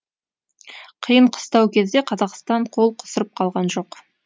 қиын қыстау кезде қазақстан қол қусырып қалған жоқ